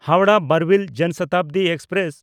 Howrah Barbil Jan Shatabdi express